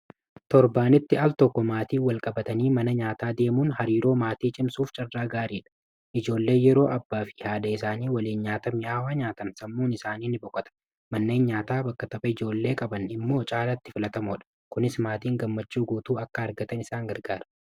torbaanitti al tokko maatii walqabatanii mana nyaataa deemuun hariiroo maatii cimsuuf carraa gaariidha. ijoollee yeroo abbaa fi haadha isaanii waliin nyaata mi'aawwaa nyaatan sammuun isaanii ni boqata. manneen nyaataa bakka tapha ijoollee qaban immoo caalatti filatamoo dha. kunis maatiin gammachuu guutuu akka argatan isaan gargaara.